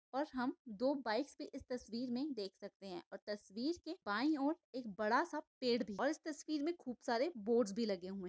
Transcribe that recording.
और हम दो बाइक्स को इस तस्वीर में हम देख सकते है और तस्वीर के बाई और एक बड़ासा पेड़ भी और इस तस्वीर में बोहत सारे बोर्ड भी लगे हुए है।